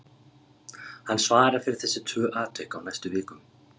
Hann svarar fyrir þessi tvö atvik á næstu vikum.